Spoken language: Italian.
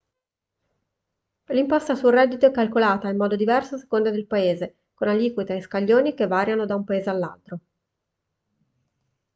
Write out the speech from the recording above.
l'imposta sul reddito è calcolata in modo diverso a seconda del paese con aliquote e scaglioni che variano da un paese all'altro